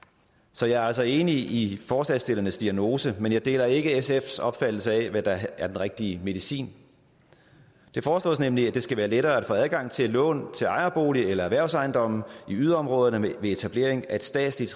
så jeg er altså enig i forslagsstillernes diagnose men jeg deler ikke sfs opfattelse af hvad der er den rigtige medicin det foreslås nemlig at det skal være lettere at få adgang til lån til ejerbolig eller erhvervsejendom i yderområderne ved etablering af et statsligt